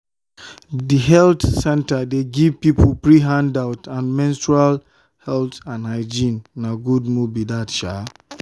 the health center dey give people free handout on menstrual health and hygiene—na good move be that.